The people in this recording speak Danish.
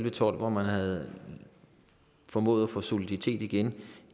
og tolv hvor man havde formået at få genskabt soliditeten